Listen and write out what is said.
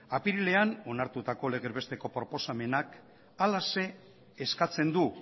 apirilean onartutako legez besteko proposamenak halaxe eskatzen du